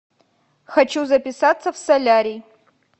хочу записаться в солярий